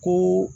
Ko